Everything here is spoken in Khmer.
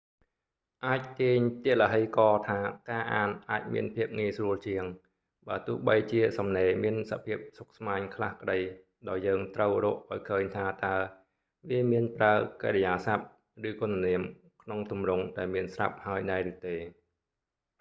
អាចទាញទឡ្ហីករណ៍ថាការអានអាចមានភាពងាយស្រួលជាង បើទោះបីជាសំណេរមានសភាពស្មុគស្មាញខ្លះក្តី ដោយយើងត្រូវរកឱ្យឃើញថាតើ វាមានប្រើកិរិយាសព្ទ ឬគុណនាមក្នុងទម្រង់ដែលមានស្រាប់ហើយដែរឬទេ